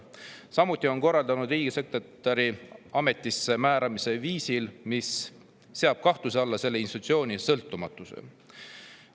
Samuti on ta korraldanud riigisekretäri ametisse määramise viisil, mis seab kahtluse alla selle institutsiooni sõltumatuse.